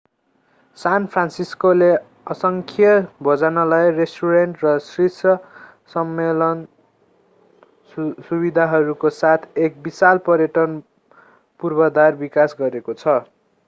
सान फ्रान्सिस्कोले असङ्ख्य भोजनालय रेस्टुरेन्ट र शीर्ष सम्मेलन सुविधाहरूको साथ एक विशाल पर्यटन पूर्वाधार विकास गरेको छ